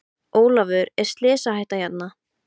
Ólafur er slysahætta hérna?